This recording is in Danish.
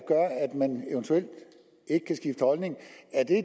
man eventuelt ikke kan skifte holdning